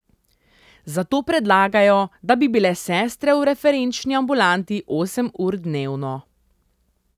Zato predlagajo, da bi bile sestre v referenčni ambulanti osem ur dnevno.